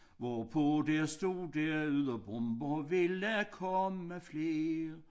Hvorpå der stod der udå bomber ville komme flere